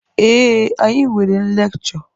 Ee, anyị nwere lekchọ.